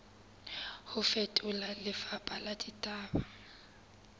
ho fetola lefapha la ditaba